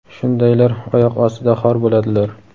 shundaylar oyoq ostida xor bo‘ladilar.